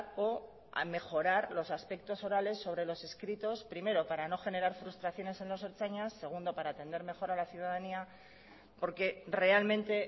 o mejorar los aspectos orales sobre los escritos primero para no generar frustraciones en los ertzainas segundo para atender mejor a la ciudadanía porque realmente